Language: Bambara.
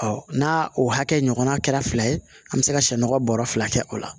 n'a o hakɛ ɲɔgɔnna kɛra fila ye an bɛ se ka sɛmɔgɔ bɔrɔ fila kɛ o la